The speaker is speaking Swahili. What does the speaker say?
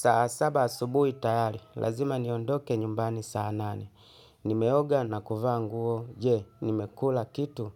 Saa saba asubui tayari, lazima niondoke nyumbani saa nane. Nimeoga na kuvaa nguo, je, nimekula kitu,